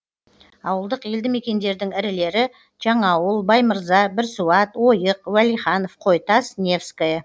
ауылдық елді мекендердің ірілері жаңаауыл баймырза бірсуат ойық уәлиханов қойтас невское